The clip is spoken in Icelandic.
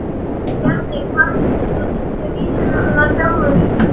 Bjarni hvatti mig til að syngja vísurnar mínar sjálfur.